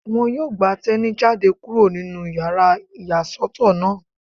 Wọ́n yóò gba Teni jáde kúrò nínú yàrá ìyàsọ́tọ̀ náà